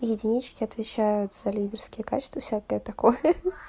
единички отвечают за лидерские качества всякое такое